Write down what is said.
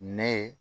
Nɛ ye